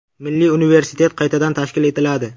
Milliy universitet qaytadan tashkil etiladi.